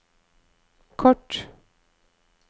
kort